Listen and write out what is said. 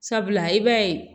Sabula i b'a ye